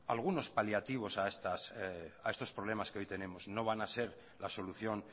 algunos paliativos a estos problemas que hoy tenemos no van a ser la solución